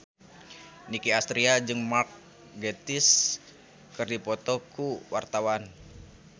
Nicky Astria jeung Mark Gatiss keur dipoto ku wartawan